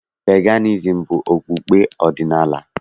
Peganizim bụ okpukpe ọdịnaala.